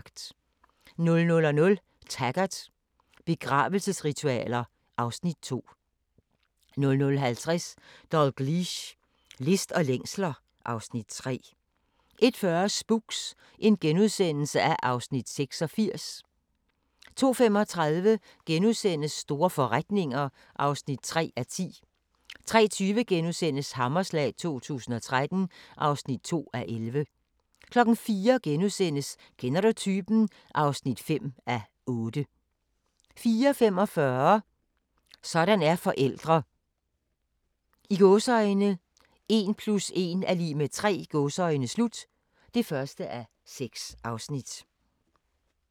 00:00: Taggart: Begravelsesritualer (Afs. 2) 00:50: Dalgliesh: List og længsler (Afs. 3) 01:40: Spooks (Afs. 86)* 02:35: Store forretninger (3:10)* 03:20: Hammerslag 2013 (2:11)* 04:00: Kender du typen? (5:8)* 04:45: Sådan er forældre – "1 + 1 = 3" (1:6)